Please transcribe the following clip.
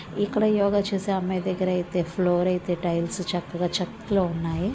ఇక్కడ యోగ చేసే అమ్మాయి దగ్గర అయితే ఫ్లోర్ అయితే టైల్స్ చక్కగా చక్కగా ఉన్నాయి.